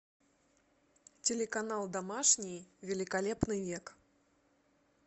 телеканал домашний великолепный век